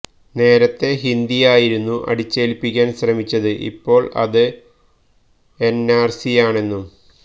നേരത്തെ ഹിന്ദിയായിരുന്നു അടിച്ചേല്പ്പിക്കാന് ശ്രമിച്ചത് ഇപ്പോള് അത് എന് ആര്സിയാണെന്നും